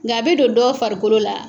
Nk'a bɛ don dɔw farikolo la.